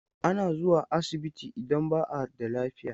Ana zuwa asibiti idan ba a da lafiya.